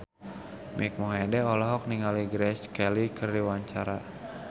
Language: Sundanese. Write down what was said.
Mike Mohede olohok ningali Grace Kelly keur diwawancara